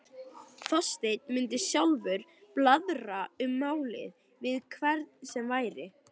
Þorsteinn mundi sjálfur blaðra um málið við hvern sem væri.